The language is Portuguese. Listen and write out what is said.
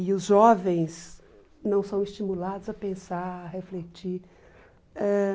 E os jovens não são estimulados a pensar, a refletir ãh.